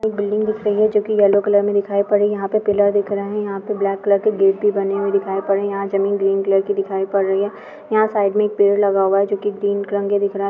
एक बिल्डिंग दिख रही है जो की येलो कलर मे दिखाई पड़ रही है यहाँ पर पिलर दिख रहैं है यहाँ पे ब्लैक कलर के गेट भी बने हुए दिखाई पड़ रहैं है यहाँ ज़मीन ग्रीन कलर की दिखाई पड़ रही है यहाँ साइड में एक पेड़ लगा हुआ है जो की ग्रीन रंग का है